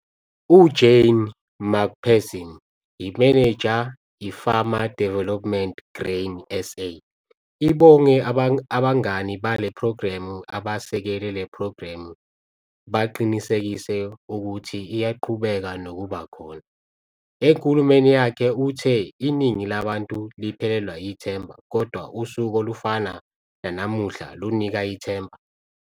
U-Jane McPherson, imeneja - i-Farmer Development, Grain SA, ibonge abangani bale phrogremu abasekele le phrogremu baqinisekise ukuthi iyaqhubeka nokuba khona. Enkulumeni yakhe uthe, 'Iningi labantu liphelelwa yithemba, kodwa usuku olufana nanamuhla lunika ithemba.'